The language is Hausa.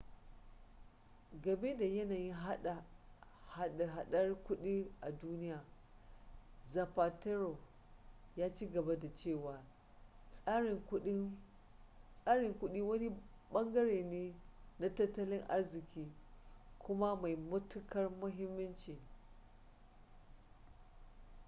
game da yanayin hada-hadar kudi a duniya zapatero ya ci gaba da cewa tsarin kudi wani bangare ne na tattalin arziki kuma mai matukar muhimmanci